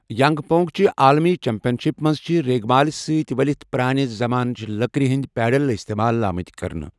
Young pong چہِ عالمی championship منٛز چھِ ریگ مال سۭتۍ ؤلِتھ پرانہِ زمانٕچ لکرٕ ہنٛدۍ پیڈل استعمال آمٕتۍ کرنہٕ۔